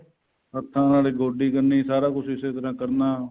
ਹੱਥਾਂ ਨਾਲ ਗੋਡੀ ਕਰਨੀ ਸਾਰਾ ਕੁੱਝ ਇਸੇ ਤਰ੍ਹਾਂ ਕਰਨਾ